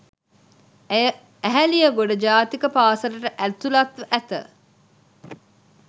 ඇය ඇහැලියගොඩ ජාතික පාසලට ඇතුළත්ව ඇත